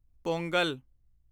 Pongal